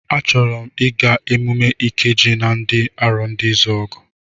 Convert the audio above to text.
A chọrọ m ịga emume Ikeji nke ndị Arondizuogu.